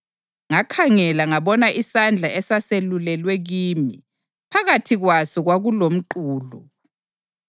Ngakhangela ngabona isandla esaselulelwe kimi. Phakathi kwaso kwakulomqulu,